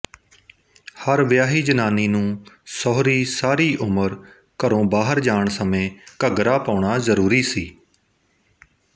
ਹਰ ਵਿਆਹੀ ਜ਼ਨਾਨੀ ਨੂੰ ਸਹੁਰੀ ਸਾਰੀ ਉਮਰ ਘਰੋਂ ਬਾਹਰ ਜਾਣ ਸਮੇਂ ਘੱਗਰਾ ਪਾਉਣਾ ਜ਼ਰੂਰੀ ਸੀ